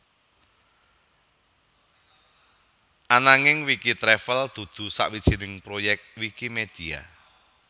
Ananging Wikitravel dudu sawijining proyek Wikimedia